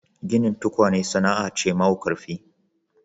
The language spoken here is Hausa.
Ginin tukwane sana'a ce mau ƙarfi.